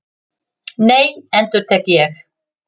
Nei, endurtek ég.